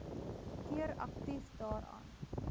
keer aktief daaraan